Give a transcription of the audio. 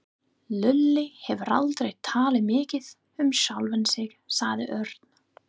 Lúlli hefur aldrei talað mikið um sjálfan sig sagði Örn.